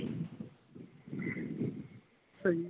ਹਾਂਜੀ